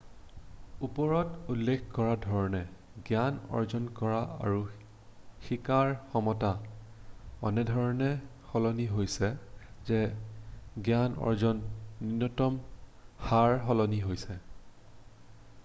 ওপৰত উল্লেখ কৰা ধৰণে জ্ঞান অৰ্জন কৰা আৰু শিকাৰ ক্ষমতা এনেধৰণে সলনি হৈছে যে জ্ঞান অৰ্জনৰ নূন্যতম হাৰ সলনি হৈছে